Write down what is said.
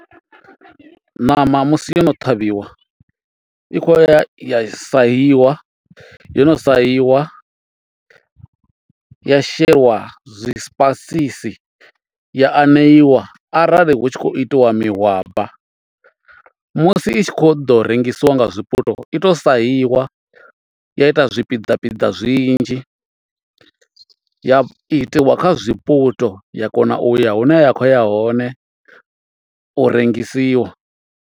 Ṋama musi yono ṱhavhiwa i kho ya ya sahiwa yo no sahiwa ya sheliwa zwipaisisi ya aneiwa arali hu tshi khou itiwa mahwaba. Musi i tshi kho ḓo rengisiwa nga zwiputo i to sahiwa ya itwa zwipiḓa piḓa zwinzhi, ya itiwa zwiputo ya kona uya hune ya khou ya hone u rengisiwa.